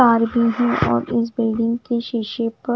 और इस बिल्डिंग के शीशे पर--